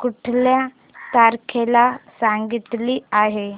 कुठल्या तारखेला सांगितली आहे